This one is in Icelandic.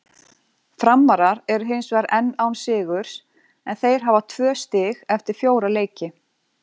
Framarar eru hinsvegar enn án sigurs en þeir hafa tvö stig eftir fjóra leiki.